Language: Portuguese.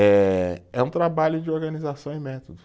Eh, é um trabalho de organização e métodos.